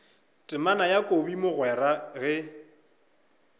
temana ya kobi mogwera ge